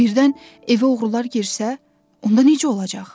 Birdən evə oğrular girsə, onda necə olacaq?